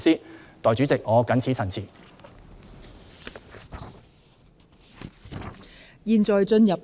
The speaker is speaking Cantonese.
代理主席，我謹此陳辭。